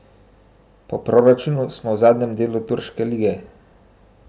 Po proračunu smo v zadnjem delu turške lige.